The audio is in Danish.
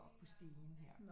Oppe på stigen her